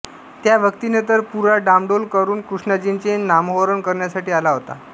त्या व्यक्तीने तर पुरा डामडौल करुण कृष्णाजींचे नामोहरण करण्यासाठी आला होता